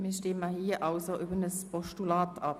Wir stimmen nun also über ein Postulat ab.